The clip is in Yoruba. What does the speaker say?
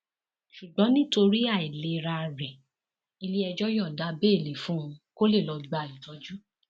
ṣùgbọn nítorí àìlera rẹ iléẹjọ yọǹda bẹẹlí fún un kó lè lọọ gba ìtọjú